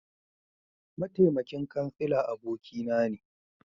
Mataimakin Kansila abokina ne